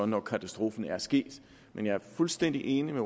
når katastrofen er sket men jeg er fuldstændig enig med